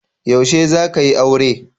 Yaushe zaka yi aure?